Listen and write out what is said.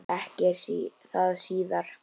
Ekki er það síðra.